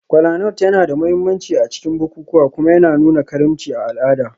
Kolanut yana da mahimmanci a cikin bukukuwa kuma yana nuna karimci a al'ada.